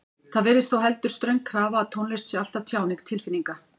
Það virðist þó heldur ströng krafa að tónlist sé alltaf tjáning tilfinninga.